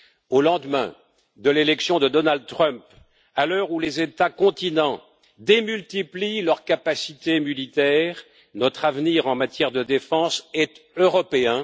Au lendemain de l'élection de Donald Trump, à l'heure où les États continents démultiplient leurs capacités militaires, notre avenir en matière de défense est européen.